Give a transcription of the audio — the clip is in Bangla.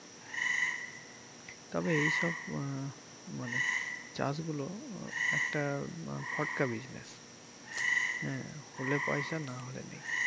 তবে এই সব আহ মানে চাষ গুলো একটা আহ ফটকা Business হ্যা হলে পয়সা নাহলে নেই।